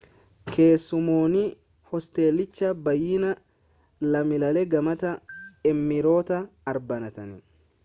keessummoonni hosteelichaa baayyinaan lammiilee gamtaa emireetota arabaati